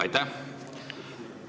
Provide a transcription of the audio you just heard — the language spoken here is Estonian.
Aitäh!